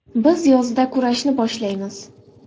Biz yozda kurashni boshlaymiz.